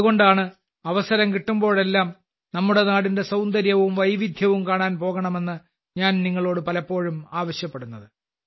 അതുകൊണ്ടാണ് അവസരം കിട്ടുമ്പോഴെല്ലാം നമ്മുടെ നാടിന്റെ സൌന്ദര്യവും വൈവിധ്യവും കാണാൻ പോകണമെന്ന് ഞാൻ നിങ്ങളോട് പലപ്പോഴും ആവശ്യപ്പെടുന്നത്